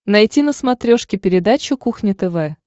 найти на смотрешке передачу кухня тв